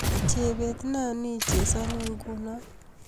Chebet ne nii chesani nguno